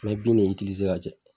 Me bin ne ka